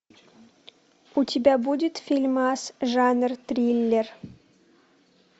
у тебя будет фильмас жанр триллер